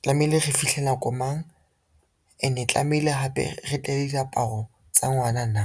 tlamehile re fihle nako mang ene e tlamehile hape re tle le diaparo tsa ngwana na.